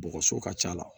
Bɔgɔso ka c'a la